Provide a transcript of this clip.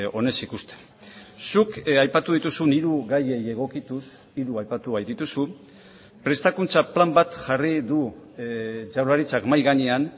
onez ikusten zuk aipatu dituzun hiru gaiei egokituz hiru aipatu baitituzu prestakuntza plan bat jarri du jaurlaritzak mahai gainean